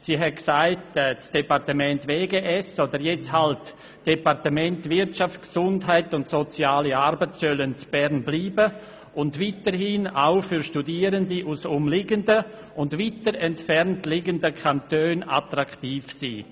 Sie hat gesagt, das Departement Wirtschaft, Gesundheit und Soziale Arbeit (WGS) solle in Bern bleiben und weiterhin für Studierende aus umliegenden und weiter entfernt liegenden Kantonen attraktiv sein.